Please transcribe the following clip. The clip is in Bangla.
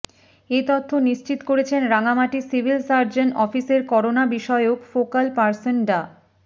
এ তথ্য নিশ্চিত করেছেন রাঙামাটি সিভিল সার্জন অফিসের করোনা বিষয়ক ফোকাল পার্সন ডা